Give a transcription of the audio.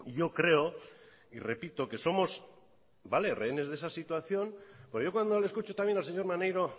yo creo y repito que somos rehenes de esa situación porque yo cuando le escucho también al señor maneiro